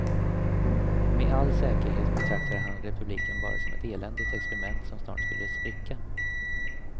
Med all säkerhet betraktade han republiken bara som ett eländigt experiment, som snart skulle spricka.